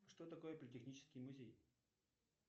что такое политехнический музей